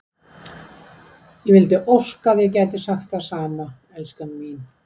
Ég vildi óska að ég gæti sagt það sama, elskan mín.